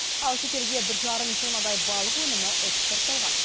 ал шетелге бір жарым тоннадай балық өнімі экспортталған